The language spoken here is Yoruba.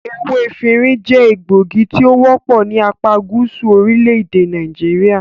Ewé efinrin jẹ́ egbògi tí o wọ́pọ̀ ní apágúsù orílẹ̀-èdè Nàìjíríà.